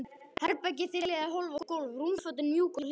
Herbergið þiljað í hólf og gólf, rúmfötin mjúk og hlý.